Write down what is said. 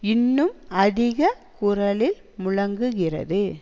இன்னும் அதிக குரலில் முழங்குகிறது